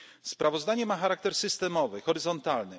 dialog. Sprawozdanie ma charakter systemowy, horyzontalny.